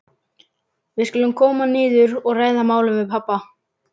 Við skulum koma niður og ræða málið við pabba.